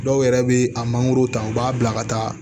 Dɔw yɛrɛ bɛ a mangoro ta u b'a bila ka taa